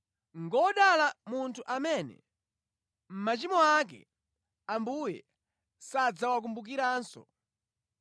Ngodala munthu amene machimo ake Ambuye sadzawakumbukiranso.”